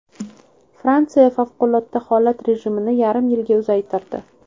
Fransiya favqulodda holat rejimini yarim yilga uzaytirdi.